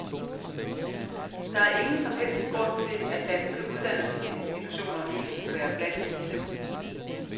Der er ingen som helst grund til, at danske uddannelsesinstitutioner ikke skulle være blandt disse.